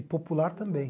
E popular também.